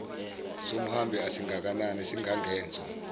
somhambi asingakanani singangenso